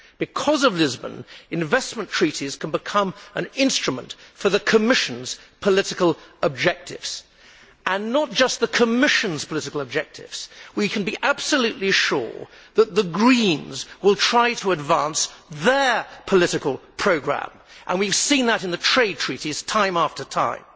Because of Lisbon, investment treaties can become an instrument for the Commission's political objectives and not just the Commission's we can be absolutely sure that the Greens will try to advance their political programme, and we have seen that in the trade treaties time after time.